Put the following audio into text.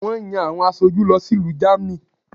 Wón yan àwọn asoju lọ sí ìlú Germany